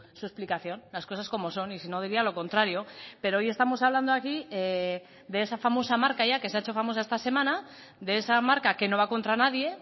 su explicación las cosas como son y si no diría lo contrario pero hoy estamos hablando aquí de esa famosa marca ya que se ha hecho famosa esta semana de esa marca que no va contra nadie